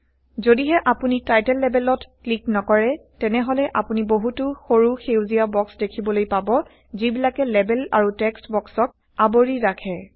যদিহে আপুনি টাইটেল লেবেলত ক্লিক নকৰে তেনেহলে আপুনি বহুতো সৰু সেউজীয়া বক্স দেখিবলৈ পাব যিবিলাকে লেবেল আৰু টেক্সট বক্সক আৱৰি ৰাখে